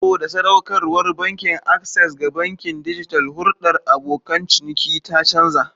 Saboda sadaukarwar Bankin Access ga bankin dijital, hulɗar abokan ciniki ta canza.